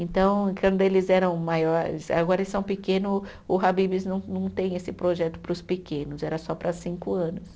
Então, quando eles eram maiores, agora eles são pequeno o, o Habib's não não tem esse projeto para os pequenos, era só para cinco anos.